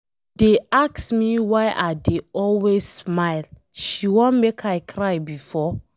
She dey ask me why I dey always smile, she wan make I cry before?